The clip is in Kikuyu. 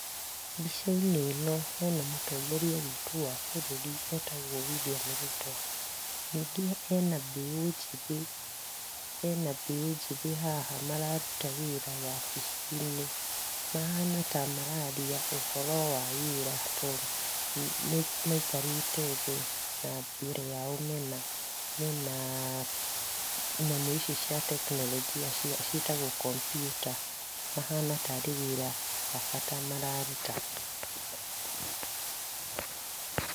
Mbica-inĩ ĩno hena mũtongoria witũ wa bũrũri etagwo William Ruto. Ningĩ hena mbeũ njĩthĩ, hena mbeũ njĩthĩ haha mararuta wĩra wabici-inĩ. Mahana ta mararia ũhoro wa wĩra to, maikarĩte thĩ, na mbere yao mena, mena ah nyamũ ici cia teknorojia ciĩtagwo computer, mahana tarĩ wĩra wa bata mararuta.